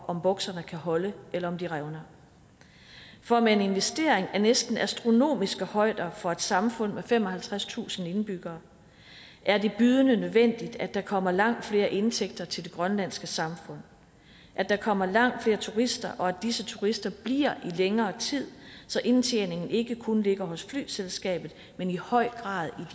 om bukserne kan holde eller om de revner for med en investering af næsten astronomiske højder for et samfund med femoghalvtredstusind indbyggere er det bydende nødvendigt at der kommer langt flere indtægter til det grønlandske samfund at der kommer langt flere turister og at disse turister bliver i længere tid så indtjeningen ikke kun ligger hos flyselskabet men i høj grad